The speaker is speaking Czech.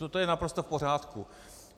To je naprosto v pořádku.